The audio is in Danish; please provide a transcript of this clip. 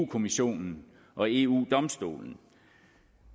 kommissionen og eu domstolen